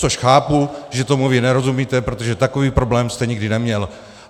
Což chápu, že tomu vy nerozumíte, protože takový problém jste nikdy neměl.